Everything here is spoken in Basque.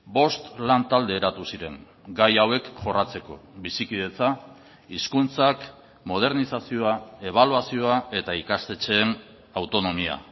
bost lan talde eratu ziren gai hauek jorratzeko bizikidetza hizkuntzak modernizazioa ebaluazioa eta ikastetxeen autonomia